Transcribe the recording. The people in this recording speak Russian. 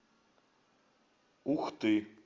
ухты